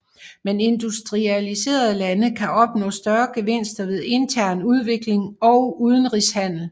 Men industrialiserede lande kan opnå større gevinster ved intern udvikling og udenrigshandel